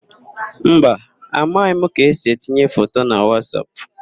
Mba, amaghị m ka esi etinye foto na Wasap.